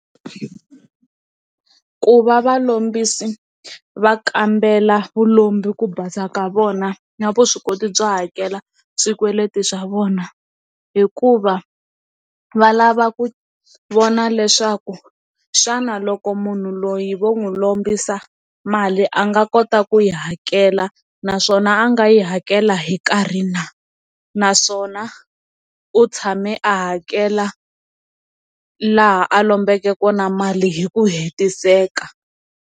Ku va valombisi va kambela vulombe ku basa ka vona na vuswikoti byo hakela swikweleti swa vona hikuva va lava ku vona leswaku xana loko munhu loyi vo n'wi lombisa mali a nga kota ku yi hakela naswona a nga yi kela hi nkarhi na naswona u tshame a hakela laha a lombeke kona mali hi ku hetiseka.